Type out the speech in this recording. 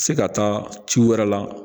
Se ka taa ci wɛrɛ la